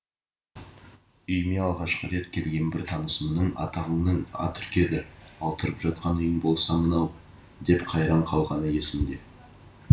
үйіме алғашқы рет келген бір танысымның атағыңның ат үркеді ал тұрып жатқан үйің болса мынау деп қайран қалғаны есімде